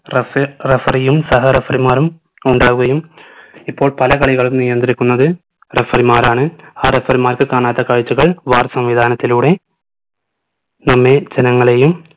referee referee യും സഹ referee മാരും ഉണ്ടാവുകയും ഇപ്പോൾ പല കളികളും നിയന്ത്രിക്കുന്നത് referee മാരാണ് ആ referee മാർക്ക് കാണാത്ത കാഴ്ചകൾ വേറെ സംവിധാനത്തിലൂടെ നമ്മെ ജനങ്ങളെയും